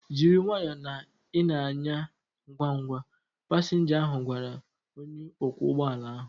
Jiri nwayọọ na ị na-anya ngwa ngwa! Pasinja ahu gwara onye ọkwọ ụgbọala ahu